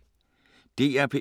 DR P1